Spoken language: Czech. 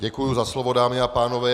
Děkuji za slovo, dámy a pánové.